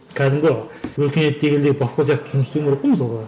кәдімге өркениетті елдегі баспа сияқты жұмыс істеуім керек қой мысалға